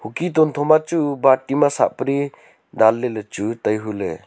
hukhi tuntho na chu bati ma sag pari dan ley ley chu tai hu ley.